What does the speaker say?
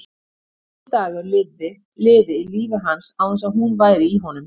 Enginn dagur liði í lífi hans án þess að hún væri í honum.